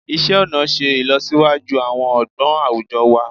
Isé ọnà ṣe ìlọsíwájú àwọn ọgbọ́n àwùjọ wa